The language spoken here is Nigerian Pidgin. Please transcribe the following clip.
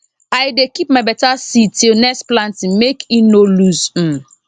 i dey keep my better seed till next planting make ino lose m